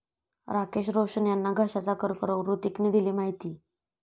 राकेश रोशन यांना घशाचा कर्करोग, हृतिकने दिली माहिती